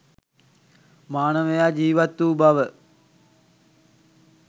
මානවයා ජීවත් වූ බව